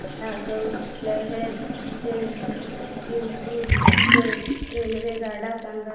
मला ग्वाल्हेर ते इंदूर च्या रेल्वेगाड्या सांगा